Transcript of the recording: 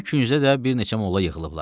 Bir küncdə də bir neçə molla yığılıblar.